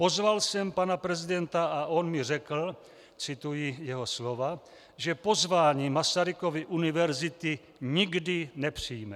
"Pozval jsem pana prezidenta a on mi řekl," cituji jeho slova, "že pozvání Masarykovy univerzity nikdy nepřijme."